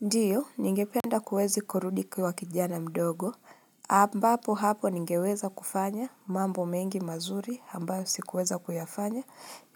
Ndio, ningependa kuweza kurudi kuwa kijana mdogo, ambapo hapo ningeweza kufanya mambo mengi mazuri ambayo sikuweza kuyafanya,